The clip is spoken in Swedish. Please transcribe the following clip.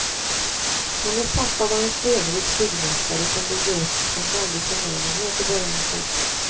Hennes pappa var en stenrik byggmästare som byggde upp en väldig förmögenhet i början av seklet.